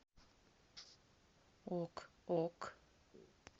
ок ок